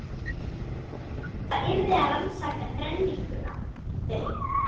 Magnús samþykkti að það yrði að rannsaka þrenninguna, þau